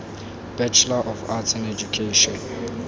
bachelor of arts in education